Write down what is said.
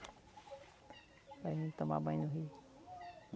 Para a gente tomar banho no rio.